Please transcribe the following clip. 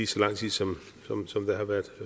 så lang tid som der har været